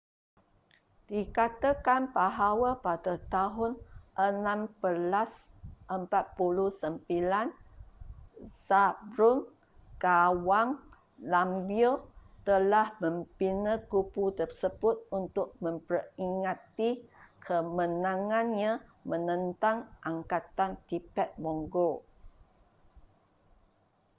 dikatakan bahawa pada tahun 1649 zhabdrung ngawang namgyel telah membina kubu tersebut untuk memperingati kemenangannya menentang angkatan tibet-mongol